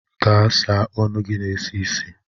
Gaa sa ọnụ gị na-esi ísì.